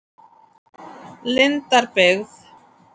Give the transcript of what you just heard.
Lindarbyggð